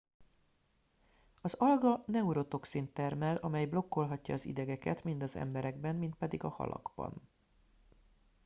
az alga neurotoxint termel amely blokkolhatja az idegeket mind az emberekben mind pedig a halakban